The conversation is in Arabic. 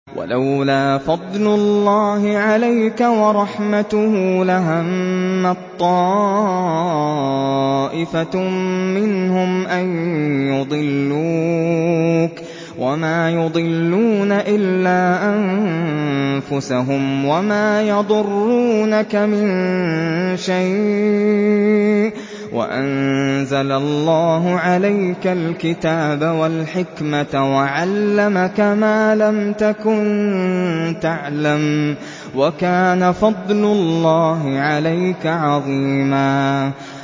وَلَوْلَا فَضْلُ اللَّهِ عَلَيْكَ وَرَحْمَتُهُ لَهَمَّت طَّائِفَةٌ مِّنْهُمْ أَن يُضِلُّوكَ وَمَا يُضِلُّونَ إِلَّا أَنفُسَهُمْ ۖ وَمَا يَضُرُّونَكَ مِن شَيْءٍ ۚ وَأَنزَلَ اللَّهُ عَلَيْكَ الْكِتَابَ وَالْحِكْمَةَ وَعَلَّمَكَ مَا لَمْ تَكُن تَعْلَمُ ۚ وَكَانَ فَضْلُ اللَّهِ عَلَيْكَ عَظِيمًا